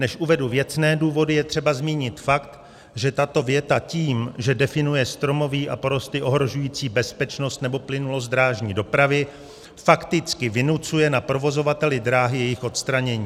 Než uvedu věcné důvody, je třeba zmínit fakt, že tato věta tím, že definuje stromoví a porosty ohrožující bezpečnost nebo plynulost drážní dopravy, fakticky vynucuje na provozovateli dráhy jejich odstranění.